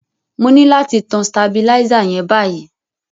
Mo ni láti tan stabilizer yen báyíí